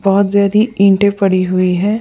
बहत ज्यादि ईंटे पड़ी हुई हैं।